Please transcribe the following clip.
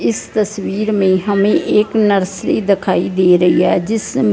इस तस्वीर में हमें एक नर्सरी दिखाई दे रही है जिस-